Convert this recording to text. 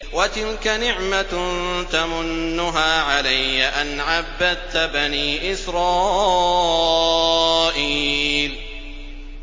وَتِلْكَ نِعْمَةٌ تَمُنُّهَا عَلَيَّ أَنْ عَبَّدتَّ بَنِي إِسْرَائِيلَ